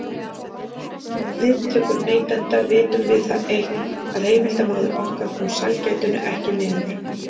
Um viðtökur neytenda vitum við það eitt, að heimildarmaður okkar kom sælgætinu ekki niður.